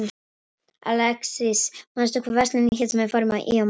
Alexis, manstu hvað verslunin hét sem við fórum í á mánudaginn?